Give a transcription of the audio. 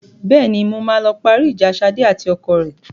Bẹ́ẹ̀ni, mo máa lọ parí ìjà Ṣadé àti ọkọ rẹ.